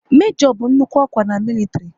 Mejo bụ nnukwu ọkwa na militiri